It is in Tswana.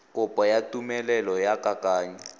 kopo ya tumelelo ya kananyo